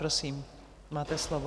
Prosím, máte slovo.